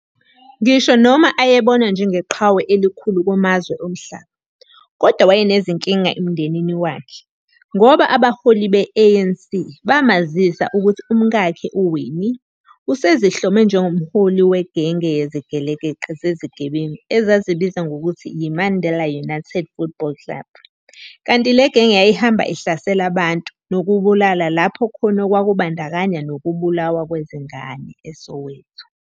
Ngisho noma ayebonwa njengeqhawe elikhulu kumazwe omhlaba, kodwa wayenezinkinga emndenini wakhe, ngoba abaholi be-ANC, bamazisa ukuhti umkakhe uWinnie, usezihlome njengomholi wegenge yezigelekeqe zezigebengu ezazizibiza ngokuthi yi- "Mandela United Football Club", kanti le genge yayihamba ihlasela abantu nokubabulala lapho khona okwakubandakanya noubulawa kwezingane - eSoweto.